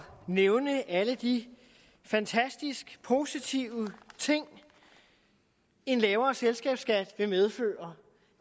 nævne alle de fantastisk positive ting en lavere selskabsskat vil medføre